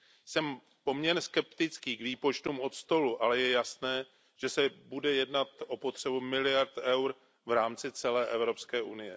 Jsem poměrně skeptický k výpočtům od stolu, ale je jasné, že se bude jednat o potřebu miliard EUR v rámci celé EU.